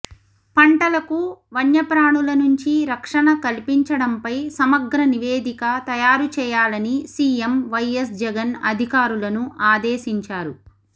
పంటలకు వణ్యప్రాణుల నుంచి రక్షణ కల్పించడంపై సమగ్ర నివేదిక తయారుచేయాలని సీఎం వైఎస్ జగన్ అధికారులను ఆదేశించారు